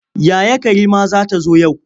Yaya Karima za ta zo yau.